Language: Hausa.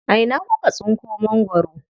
A ina kuka tsinko mangwaro?